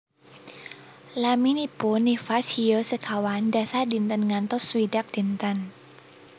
Laminipun nifas hiyo sekawan dasa dinten ngantos swidak dinten